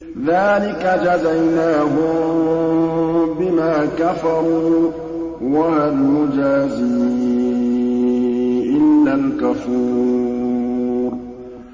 ذَٰلِكَ جَزَيْنَاهُم بِمَا كَفَرُوا ۖ وَهَلْ نُجَازِي إِلَّا الْكَفُورَ